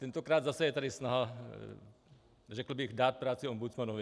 Tentokrát zase je tady snaha řekl bych dát práci ombudsmanovi.